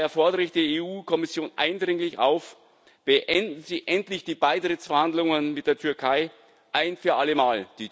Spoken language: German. Daher fordere ich die EU Kommission eindringlich auf Beenden Sie endlich die Beitrittsverhandlungen mit der Türkei ein für allemal!